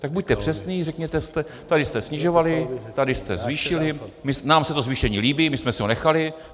Tak buďte přesní, řekněte, tady jste snižovali, tady jste zvýšili, nám se to zvýšení líbí, my jsme si ho nechali!